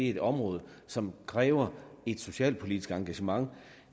et område som kræver et socialpolitisk engagement